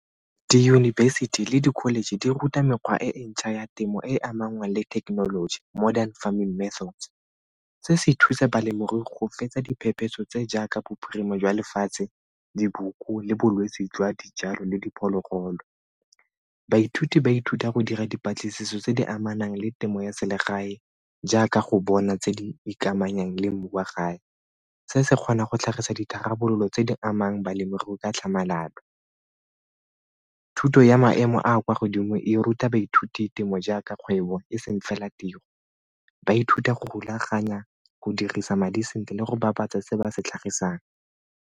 Diyunibesithi le di-college di ruta mekgwa e e ntšha ya temo e e amanang le thekenoloji modern farming methods. Se se thusa balemirui go fetsa diphephetso tse jaaka bophirima jwa lefatshe, diboko le bolwetse jwa dijalo le diphologolo. Baithuti ba ithuta go dira dipatlisiso tse di amanang le temo ya selegae jaaka go bona tse di ikamanyang le mmu wa gae, se se kgonang go tlhagisa ditharabololo tse di amang balemirui ka tlhamalalo. Thuto ya maemo a a kwa godimo e ruta baithuti temo jaaka kgwebo e seng fela tiro, ba ithuta go rulaganya, go dirisa madi sentle le go bapatsa se ba se tlhagisang.